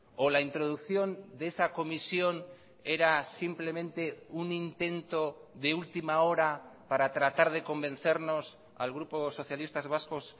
o la introducción de esa comisión era simplemente un intento de última hora para tratar de convencernos al grupo socialistas vascos